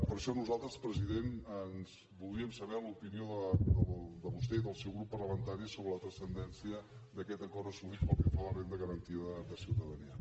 per això nosaltres president voldríem saber l’opinió de vostè i del seu grup parlamentari sobre la transcendència d’aquest acord assolit pel que fa a la renda garantida de ciutadania